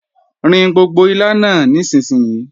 Rin gbogbo ilá náà nísinsìnyí!